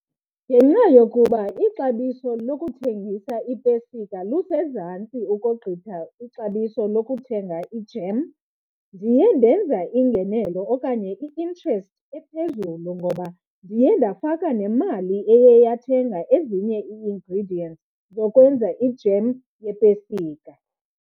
Ngenxa yokuba ixabiso lokuthengisa ipesika lusezantsi ukogqitha ixabiso lokuthenga ijem ndiye ndenza iingenelo okanye i-interest ephezulu ngoba ndiye ndafaka nemali eye yathenga ezinye ii-ingredients zokwenza ijem yepesika.